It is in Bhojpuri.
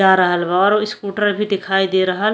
जा रहल बा और इस्कूटर भी दिखाई दे रहल --